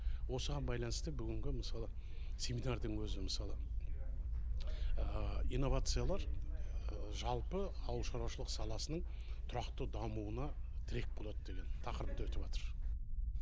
осыған байланысты бүгінгі мысалы семинардың өзі мысалы инновациялар жалпы ауылшаруашылық саласының тұрақты дамуына тірек болады деген тақырыпта өтіватыр